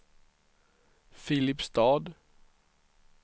Filipstad